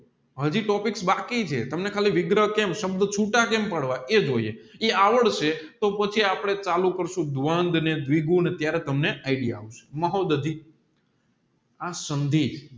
હાજી ટોપિક્સ બાકીચે તમને ખાલી વિગ્રહ કેમ સબધ છુટા કેમ પાડવા એ જોઈએ એ આવડવું પડશે પછી આપણે ચાલુ કરસુ ત્યારે તમને idea આવશે આ સંધિ